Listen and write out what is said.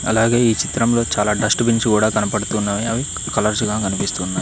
అలాగే ఈ చిత్రంలో చాలా డస్ట్ బిన్స్ కూడా కనపడుతున్నాయి అవి కలర్స్ గా కనిపిస్తున్నాయి.